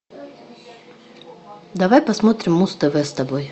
давай посмотрим муз тв с тобой